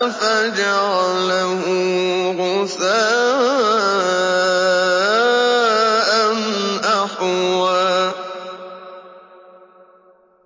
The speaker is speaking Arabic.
فَجَعَلَهُ غُثَاءً أَحْوَىٰ